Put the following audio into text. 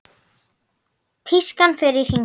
Tískan fer í hringi.